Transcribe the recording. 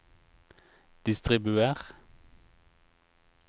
distribuer